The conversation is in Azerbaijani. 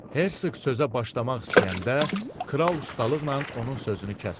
Herseq sözə başlamaq istəyəndə kral ustalıqla onun sözünü kəsdi.